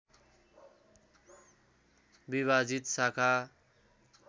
विभाजित शाखा